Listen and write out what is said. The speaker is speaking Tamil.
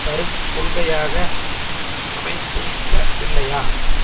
தரும் கொள்கையாக அமைந்திருக்கவில்லையா